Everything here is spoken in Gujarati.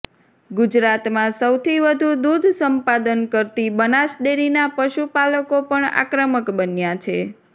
ગુજરાતમાં સૌથી વધુ દુધ સંપાદન કરતી બનાસ ડેરીના પશુપાલકો પણ આક્રમક બન્યા છે